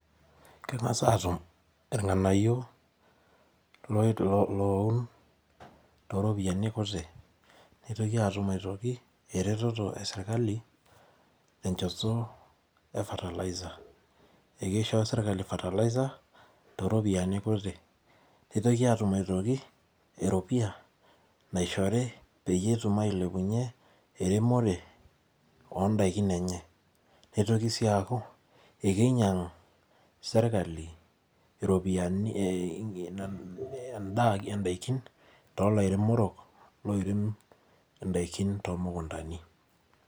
Keng'asa atum irng'anayio loun toropiyiani kuti. Nitoki atum aitoki ereteto esirkali, tenchoto e fertiliser. Ekisho serkali fertiliser, toropiyiani kuti. Nitoki atum aitoki, eropiyia naishori peyie etum ailepunye eremore odaikin enye. Nitoki si aku, ekinyang' serkali iropiyiani idaikin tolairemorok loirem idaikin tomukuntani.